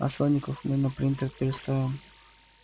а слоников мы на принтер переставим